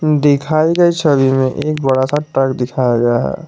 दिखाई गई छवि में एक बड़ा सा ट्रक दिखाया गया है।